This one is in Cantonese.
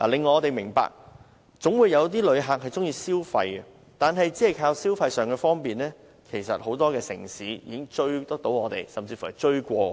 我明白總會有旅客喜歡消費，但如我們只靠消費上的方便，很多城市都會追上我們，甚至超越我們。